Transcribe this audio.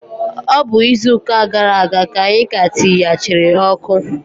Ọ bụ izuụka gara aga ka anyị ka tiyachiri ọkụ.